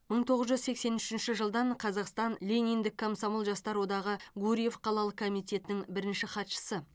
мың тоғыз жүз сексен үшінші жылдан қазақстан лениндік комсомол жастар одағы гурьев қалалық комитетінің бірінші хатшысы